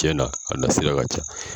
Tiɲɛnna, a nasira ka ca.